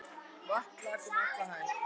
Vatn lak um alla hæð.